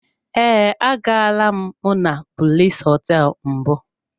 Ee, agaala m monablis hotel mbụ.